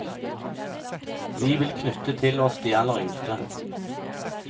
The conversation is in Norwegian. Vi vil knyttet til oss de aller yngste.